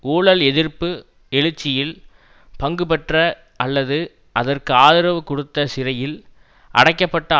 ஊழல் எதிர்ப்பு எழுச்சியில் பங்கு பெற்ற அல்லது அதற்கு ஆதரவு கொடுத்த சிறையில் அடைக்க பட்ட